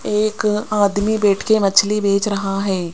एक आदमी बैठ के मछली बेच रहा है।